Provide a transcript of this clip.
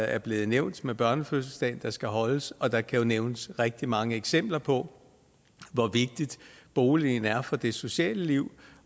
er blevet nævnt med børnefødselsdagen der skal holdes og der kan nævnes rigtig mange eksempler på hvor vigtig boligen er for det sociale liv